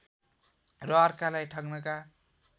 र अर्कालाई ठग्नका